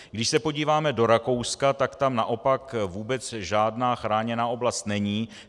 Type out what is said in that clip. Když se podíváme do Rakouska, tak tam naopak vůbec žádná chráněná oblast není.